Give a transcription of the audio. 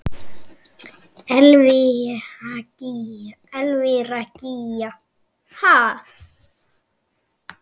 Elvíra Gýgja: Ha?